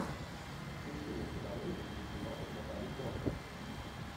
включи мне киноленты где снималась натали портман